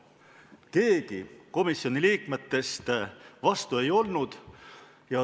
Keegi komisjoni liikmetest vastu ei olnud.